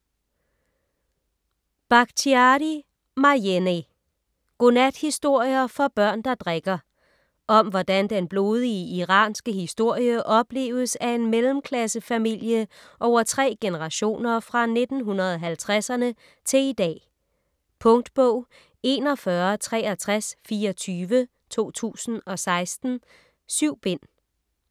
Bakhtiari, Marjaneh: Godnathistorier for børn der drikker Om hvordan den blodige iranske historie opleves af en mellemklassefamilie over tre generationer fra 1950'erne til i dag. Punktbog 416324 2016. 7 bind.